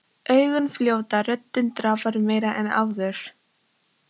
Augun fljóta, röddin drafar meira en áður.